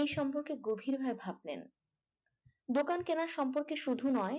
এই সম্পর্কে গভীরভাবে ভাবলেন দোকান কেনার সম্পর্কে শুধু নয়